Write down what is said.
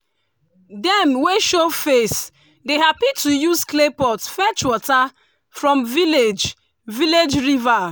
dem wey show face dey happy to use clay pot fetch water from village village river.